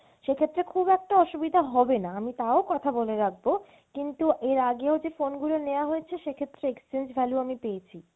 সেক্ষেত্রে খুব একটা অসুবিধা হবেনা, আমি তাও কথা বলে রাখবো কিন্তু এর আগেও যে phone গুলো নেওয়া হয়েছে সেক্ষেত্রে exchange value আমি পেয়েছি।